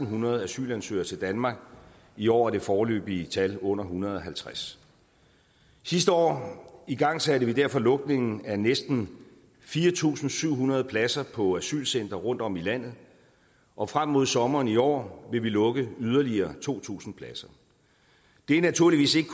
hundrede asylansøgere til danmark i år er det foreløbige tal under en hundrede og halvtreds sidste år igangsatte vi derfor lukningen af næsten fire tusind syv hundrede pladser på asylcentre rundtom i landet og frem mod sommeren i år vil vi lukke yderligere to tusind pladser det er naturligvis ikke